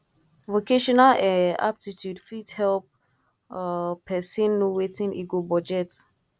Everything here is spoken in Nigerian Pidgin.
vocational um aptitude fit help um pesin know wetin e go budget